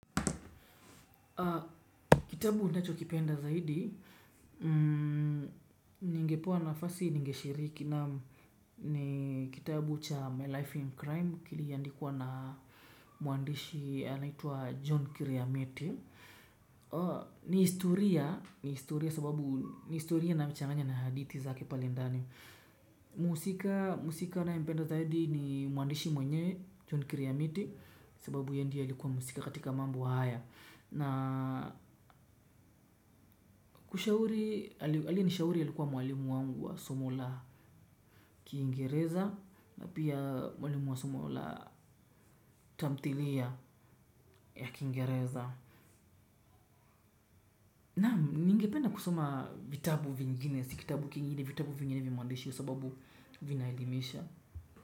Kitabu ninacho kipenda zaidi ningepewa nafasi ningeshiriki naam, ni kitabu cha My Life in Crime kiliandikwa na mwandishi anaitwa John Kiriamiti. Ni historia sababu ni historia na anachanganya na hadithi zake pale ndani. Mhusika na mpenda zaidi ni mwandishi mwenye John Kiriamiti, sababu ye ndiye alikuwa mhusika katika mambo haya. Na kushauri, alyenishauri alikuwa mwalimu wangu wa somu la kiingereza, na pia mwalimu wa somo la tamthilia ya kingereza. Naam ningepedna kusoma vitabu vingine, si kitabu kingine, vitabu vingine vya mwandishi sababu vinaelimisha.